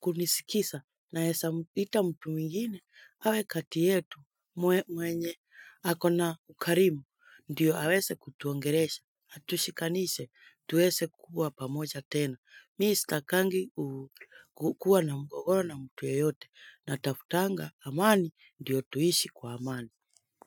kunisikisa naesa muita mtu mingine awe kati yetu mwenye ako na ukarimu ndiyo awese kutuongeresha atushikanise tuwese kuwa pamoja tena. Mi stakangi kuu kukua na mgogoro na mtu yeyote na tafutanga amani ndiyo tuishi kwa amani.